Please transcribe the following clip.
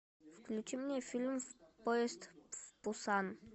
включи мне фильм поезд в пусан